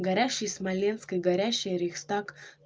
горящий смоленск и горящий рейхстаг